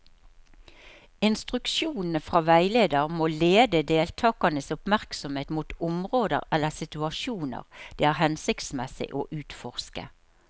Instruksjonene fra veileder må lede deltakernes oppmerksomhet mot områder eller situasjoner det er hensiktsmessig å utforske.